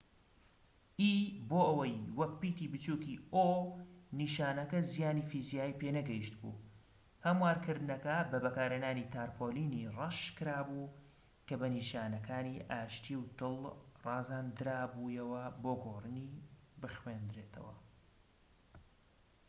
نیشانەکە زیانی فیزیایی پێنەگەیشت بوو؛ هەموارکردنەکە بە بەکارهێنانی تارپۆلینی ڕەش کرا بوو کە بە نیشانەکانی ئاشتی و دڵ ڕازاندرا بوویەوە بۆ گۆڕینی o ‎ بۆ ئەوەی وەک پیتی بچوکی e بخوێنرێتەوە